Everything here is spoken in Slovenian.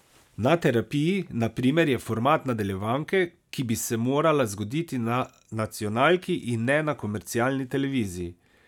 Na terapiji, na primer, je format nadaljevanke, ki bi se morala zgoditi na nacionalki, in ne na komercialni televiziji.